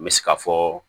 N bɛ se ka fɔ